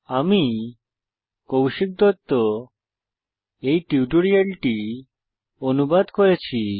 আমি কৌশিক দত্ত এই টিউটোরিয়ালটি অনুবাদ করেছি